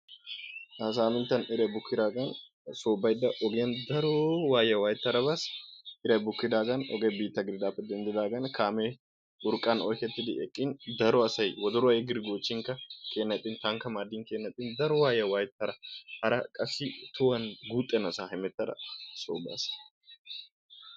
Ha saminttan iray bukkidaage so baydda ogiyaan daro wayiyyaa waayetada baas. Iray bukkidaagan oge biittaa gididaagan kaame urqqa gelidi eqqin daro asay woddoruwaa yegiddi goochchinkka kiyennan ixxi., rankka maaddinkka kiyyenan ixxin daro waayyiya waayetada qassi tohuwaan guuxxenassa hemettada so baas.